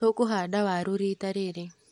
Tũkũhanda waru rita rĩrĩ.